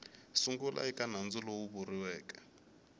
sungula eka nandzu lowu vuriweke